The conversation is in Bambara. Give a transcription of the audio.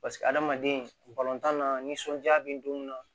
Paseke adamaden na nisɔndiya be don mun na